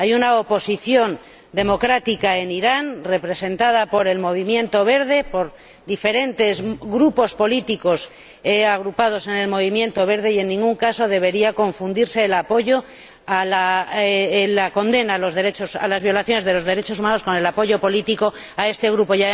Hay una oposición democrática en Irán, representada por el Movimiento Verde, por diferentes grupos políticos agrupados en el Movimiento Verde, y en ningún caso debería confundirse la condena a las violaciones de los derechos humanos con el apoyo político a este grupo.